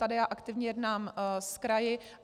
Tady já aktivně jednám s kraji.